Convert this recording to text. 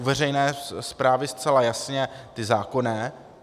U veřejné správy zcela jasně ty zákonné.